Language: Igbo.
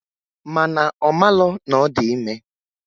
Mana omalo na odi ime.